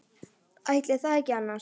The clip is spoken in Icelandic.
Ætli það ekki annars.